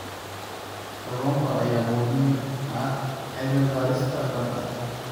Kalluunka ayaa muhiim u ah cilmi baarista badda.